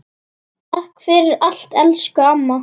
Takk fyrir allt elsku amma.